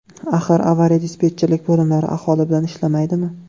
Axir avariya-dispetcherlik bo‘limlari aholi bilan ishlamaydimi?